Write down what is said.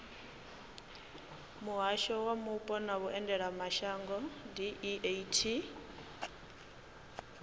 muhasho wa mupo na vhuendelamashango deat